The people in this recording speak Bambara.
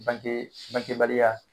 Banee bangekebaliya